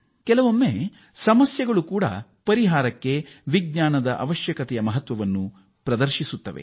ಕೆಲವೊಮ್ಮೆ ಸಮಸ್ಯೆಗಳು ಕೂಡ ಪರಿಹಾರಕ್ಕೆ ವಿಜ್ಞಾನದ ಅವಶ್ಯಕತೆಯನ್ನು ಒದಗಿಸುತ್ತದೆ